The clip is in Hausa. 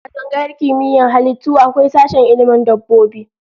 A tsangayar Kimiyyar halittu akwai sashen ilmin dabbobi